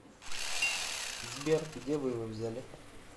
сбер где вы его взяли